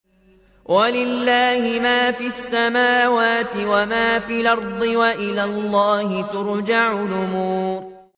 وَلِلَّهِ مَا فِي السَّمَاوَاتِ وَمَا فِي الْأَرْضِ ۚ وَإِلَى اللَّهِ تُرْجَعُ الْأُمُورُ